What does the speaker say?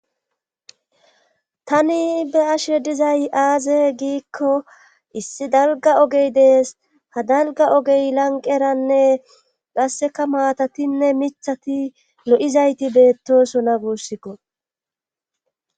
Tani ba'ashe dizay aaze giikko issi dalgga ogey dees haa dalgga ogey lanqeranne qasseka maatatinne miiththati lo'izayti beettosona guussikko